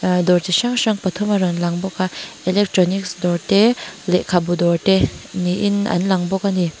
aa dawr chi hrang pathum a rawn lang bawka electronics dawrte lekhabu dawrte niin an lawng bawk a ni.